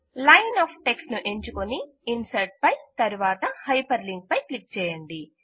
line of text ను ఎంచుకుని insert పై తరువాత హైపర్ లింక్ పై క్లిక్ చేయండి